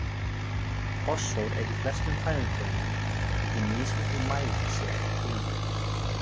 Fosfór er í flestum fæðutegundum þótt í mismiklum mæli sé eftir tegundum.